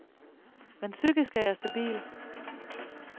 Men psykisk er jeg stabil.